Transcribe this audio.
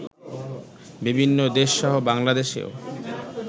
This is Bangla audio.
বিভিন্ন দেশসহ বাংলাদেশেও